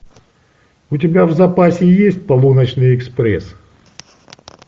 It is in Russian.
у тебя в запасе есть полуночный экспресс